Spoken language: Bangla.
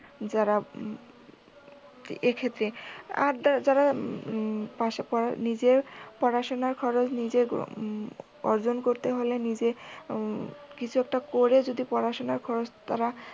যারা এক্ষেত্রে আর যারা পাশ করা নিজের পড়াশুনার খরচ নিজে অর্জন করতে হয় নিজে কিছু একটা করে যদি পড়াশুনার খরচ তারা